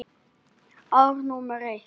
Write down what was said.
Ár númer eitt.